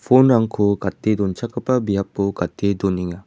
phone-rangko gate donchakgipa biapo gate donenga.